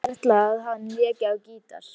Ekki vissi Edda að hann léki á gítar.